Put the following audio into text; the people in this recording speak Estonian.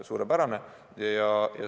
Suurepärane!